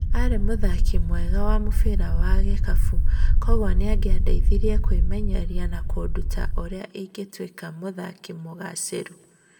Arĩ muthaki mwega wa mubira wa gĩkabu kwoguo nĩangĩandeithirie kwĩmenyeria na akĩnduta urĩa ingĩtuika muthaki mugacĩru.